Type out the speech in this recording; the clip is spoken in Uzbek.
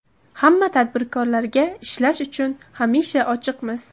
Hamma tadbirkorlarga ishlash uchun hamisha ochiqmiz.